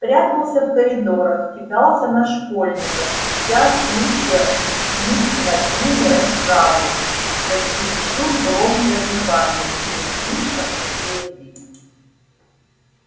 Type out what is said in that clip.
прятался в коридорах кидался на школьников ища случая учинить над ними расправу за чересчур громкое дыхание или слишком счастливый вид